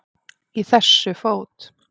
Í þessu fót